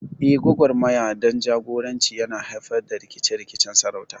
Eh, gwagwarmaya don jagoranci yana haifar da rikice-rikicen sarauta.